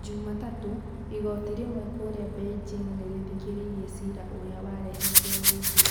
Jumatatũ, igoti rĩmwe kũria Beijing nirithikiriirie cira ũria warehetwo ni Bi.